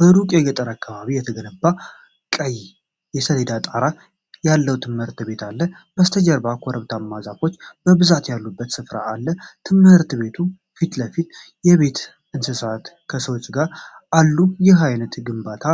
በሩቅ የገጠር አካባቢ የተገነባ ቀይ የሰሌዳ ጣራ ያለው ትምህርት ቤት አለ። ከበስተጀርባ ኮረብታማና ዛፎች በብዛት ያሉበት ሥፍራ አለ። በትምህርት ቤቱ ፊት ለፊት የቤት እንስሳት ከሰዎች ጋር አሉ። ይህን ዓይነት ግንባታ